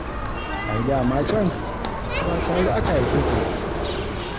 Ai da ma can ba tare aka haife ku da ita ba.